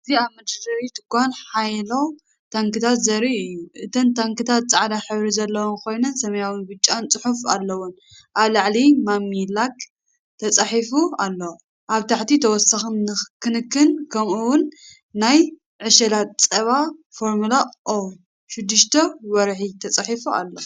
እዚ ኣብ መደርደሪ ድኳን ሓያሎ ታንክታት ዘርኢ እዩ። እተን ታንክታት ጻዕዳ ሕብሪ ዘለወን ኮይነን ሰማያውን ብጫን ጽሑፍ ኣለወን። ኣብ ላዕሊ"ማሚ ላክ"ተጻሒፉ ኣሎ። ኣብ ታሕቲ "ተወሳኺ ክንክን" ከምኡ'ውን "ናይ ዕሸላት ጸባ ፎርሙላ 0-6 ወርሒ" ተጻሒፉ ኣሎ።